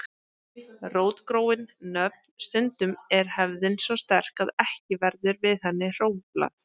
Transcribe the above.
Rótgróin nöfn Stundum er hefðin svo sterk að ekki verður við henni hróflað.